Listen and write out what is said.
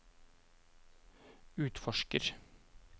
utforsker